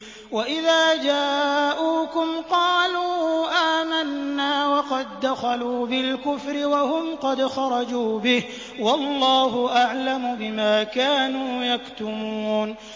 وَإِذَا جَاءُوكُمْ قَالُوا آمَنَّا وَقَد دَّخَلُوا بِالْكُفْرِ وَهُمْ قَدْ خَرَجُوا بِهِ ۚ وَاللَّهُ أَعْلَمُ بِمَا كَانُوا يَكْتُمُونَ